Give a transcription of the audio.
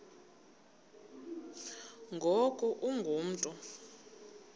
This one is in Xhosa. ngoku ungu mntu